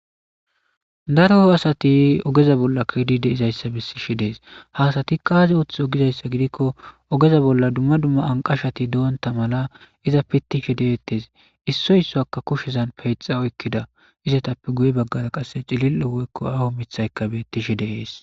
daroo asati ogeza bolla kidi de'izayssa besishe dees ha asati qaazi ooththi ogizayssa gidikko ogeza bolla dumma dumma anqashati doonta mala iza pittishi deettes issoy issoaka kushizan peyxa oykkida izatappe guye baggara qasse cilil7o woykko awu mithayka bettishi de'ees